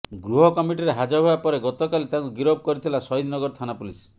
ଗୃହ କମିଟିରେ ହାଜର ହେବା ପରେ ଗତକାଲି ତାଙ୍କୁ ଗିରଫ କରିଥିଲା ଶହୀଦ ନଗର ଥାନା ପୁଲିସ୍